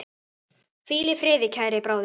Hvíl í friði, kæri bróðir.